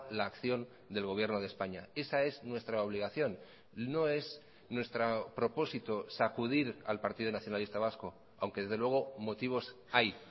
la acción del gobierno de españa esa es nuestra obligación no es nuestro propósito sacudir al partido nacionalista vasco aunque desde luego motivos hay